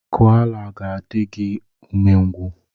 Koala ga-adị gị umengwụ.